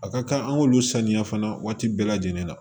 A ka kan an k'olu saniya fana waati bɛɛ lajɛlen na